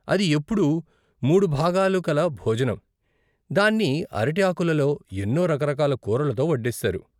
అది ఎప్పుడూ మూడు భాగాలు కల భోజనం, దాన్ని అరటి ఆకులలో ఎన్నో రకరకాల కూరలతో వడ్డిస్తారు.